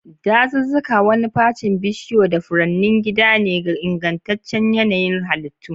Dazuzzuka, wani facin bishiyu da furanni, gida ne ga ingantaccen yanayin halittu.